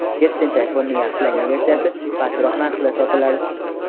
Yettinchi ayfonning yaxshilangan versiyasi pastroq narxda sotiladi.